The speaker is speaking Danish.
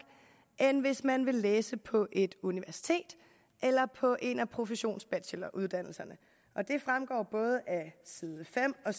end hvis man vil læse på et universitet eller på en af professionsbacheloruddannelserne og det fremgår af både side fem og